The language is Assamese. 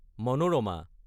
মনোৰামা